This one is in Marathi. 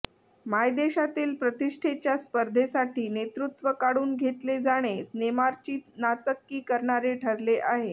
मायदेशातील प्रतिष्ठेच्या स्पर्धेसाठी नेतृत्व काढून घेतले जाणे नेमारची नाचक्की करणारे ठरले आहे